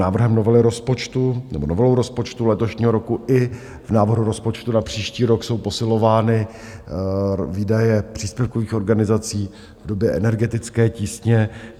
Návrhem novely rozpočtu nebo novelou rozpočtu letošního roku i v návrhu rozpočtu na příští rok jsou posilovány výdaje příspěvkových organizací v době energetické tísně.